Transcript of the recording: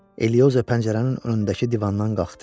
Elioza pəncərənin önündəki divandan qalxdı.